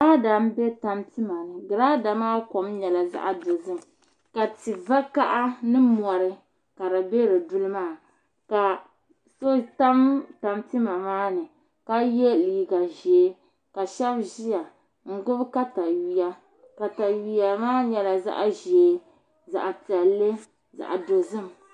Girada n bɛ tanpima ni girada maa nyɛla zaɣ dozim ka ti vakaɣa ni mori ka di bɛ di duli maa ka so tam tanpima maa ni ka yɛ liiga ʒiɛ ka shab ʒiya n gbubi katawiya katawiya maa nyɛla zaɣ ʒiɛ zaɣ piɛlli zaɣ dozim